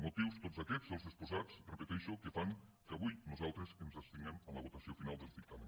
motius tots aquests els exposats ho repeteixo que fan que avui nosaltres ens abstinguem en la votació final del dictamen